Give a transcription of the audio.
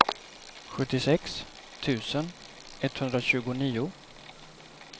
sjuttiosex tusen etthundratjugonio